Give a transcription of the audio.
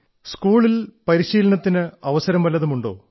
in school or you have any chance to take a training